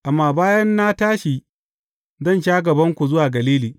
Amma bayan na tashi, zan sha gabanku zuwa Galili.